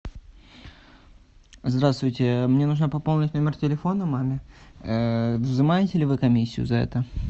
здравствуйте мне нужно пополнить номер телефона маме взимаете ли вы комиссию за это